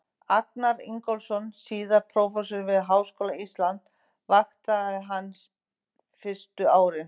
Agnar Ingólfsson, síðar prófessor við Háskóla Íslands, vaktaði hann fyrstu árin.